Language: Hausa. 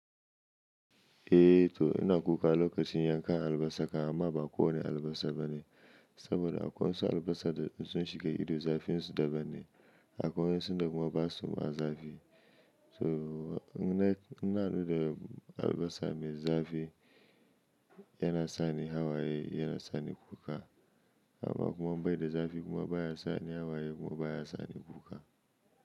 Eh to ina kuka lokacin yanka albasa ka amma ba kowane albasa bane saboda akwai wasu albasa da sun shiga ido zafin su daban ne akwai wasu kuma basu ma zafi so ni na na nuna albasa mai zafi yana sani hawaye yana sani kuka amma kuma bai da zafi kuma baya sani hawaye kuma baya sani kuka.